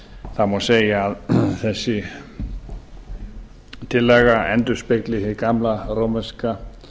það má segja að þessi tillaga endurspegli hið gamla rómanska